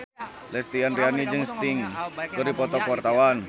Lesti Andryani jeung Sting keur dipoto ku wartawan